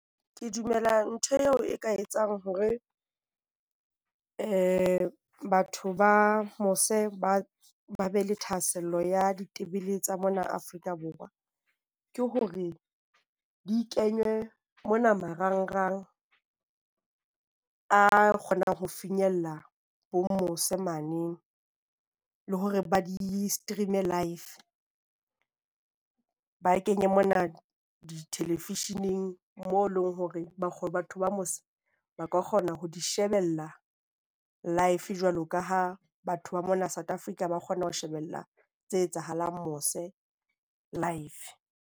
Ke dumela ntho eo e ka etsang hore batho ba mose ba be le thahasello ya ditebele tsa mona Afrika Borwa, ke hore di kenywe mona marangrang a kgonang ho finyella ho mose mane le hore ba di-stream-e live. Ba kenye mona di-television-eng mo eleng hore ba batho ba mose ba ka kgona ho di shebella live jwalo ka ha batho ba mona South Africa ba kgona ho shebella tse etsahalang mose live.